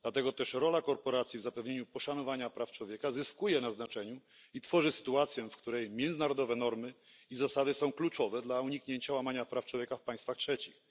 Dlatego też rola korporacji w zapewnieniu poszanowania praw człowieka zyskuje na znaczeniu i tworzy sytuację, w której międzynarodowe normy i zasady są kluczowe dla uniknięcia łamania praw człowieka w państwach trzecich.